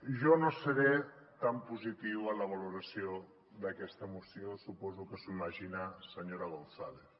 jo no seré tan positiu en la valoració d’aquesta moció suposo que s’ho imagina senyora gonzález